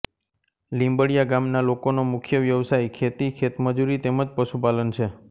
લીંબડિયા ગામના લોકોનો મુખ્ય વ્યવસાય ખેતી ખેતમજૂરી તેમ જ પશુપાલન છે